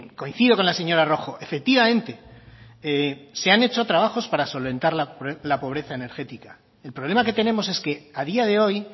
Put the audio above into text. coincido con la señora rojo efectivamente se han hecho trabajos para solventar la pobreza energética el problema que tenemos es que a día de hoy